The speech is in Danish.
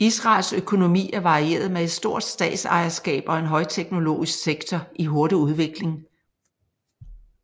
Israels økonomi er varieret med et stort statsejerskab og en højteknologisk sektor i hurtig udvikling